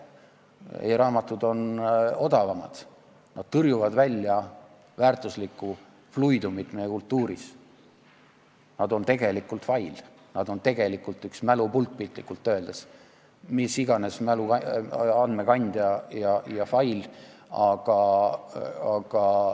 E-raamatud on odavamad, nad tõrjuvad meie kultuurist välja väärtuslikku fluidumit, nad on tegelikult fail, nad on tegelikult üks mälupulk, piltlikult öeldes, mis iganes mäluandmete kandja ja fail.